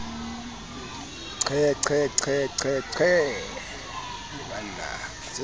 qhe qhe qhe qhe qhe